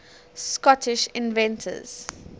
scottish inventors